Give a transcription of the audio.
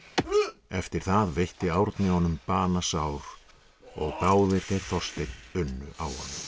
eftir það veitti Árni honum banasár og báðir þeir Þorsteinn unnu á